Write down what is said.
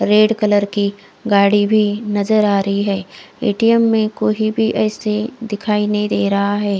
Red colour की गाड़ी भी नजर आ रही है ए_टी_ऍम में कोई भी असे दिखाई नही दे रहा है।